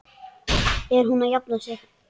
Er hún að jafna sig?